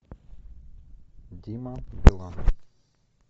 дима билан